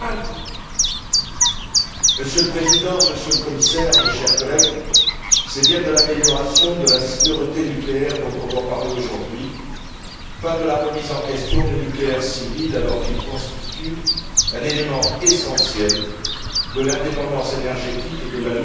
Monsieur le Président, Monsieur le Commissaire, chers collègues, c'est bien de l'amélioration de la sûreté nucléaire dont on doit parler aujourd'hui, pas de la remise en question du nucléaire civil, alors qu'il constitue un élément essentiel de l'indépendance énergétique et de la lutte contre les gaz à effet de serre